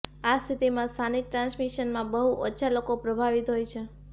આ સ્થિતિમાં સ્થાનિક ટ્રાન્સમિશનમાં બહુ ઓછા લોકો પ્રભાવિત હોય છે